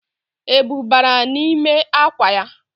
Ebu bara nime akwa ya